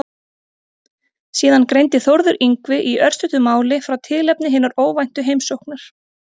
Síðan greindi Þórður Yngvi í örstuttu máli frá tilefni hinnar óvæntu heimsóknar.